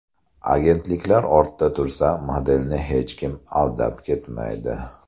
Agentliklar o‘rtada tursa, modelni hech kim aldab ketmaydi.